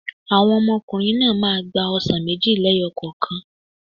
Àwọn ọmọkùnrin náà máa gba ọsàn méjì lẹ́yọ̀ kokan